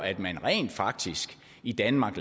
at man rent faktisk i danmark